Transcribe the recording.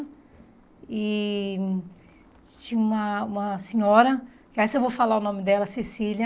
E tinha uma uma senhora, que essa eu vou falar o nome dela, Cecília.